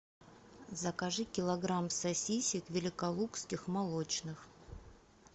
закажи килограмм сосисек великолукских молочных